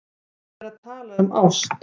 Ég er að tala um ást.